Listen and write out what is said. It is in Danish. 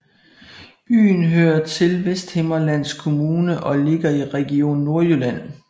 Byen hører til Vesthimmerlands Kommune og ligger i Region Nordjylland